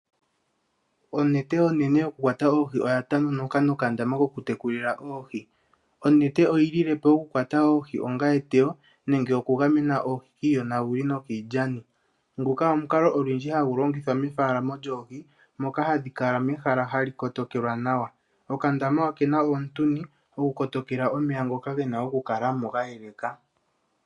Onete onene yokukwata oohi oya tengunuka nokandama koku tekulila oohi . Onete oyi lilepo oku kwata oohi onga eteyo nenge okugamena oohi kiiyonaguli nokiilyani ,ngoka omukalo olundji hagu longithwa metekulo lyoohi moka hadhi kala mehala hali kotokelwa nawa . Okandama okena omuntuni go ku kotokela omeya ngoka gena okukalamo ga yeleka .